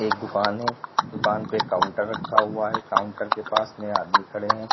एक दुकान है दुकान पे काउंटर रखा हुआ है। काउंटर के पास में आदमी खड़े हैं।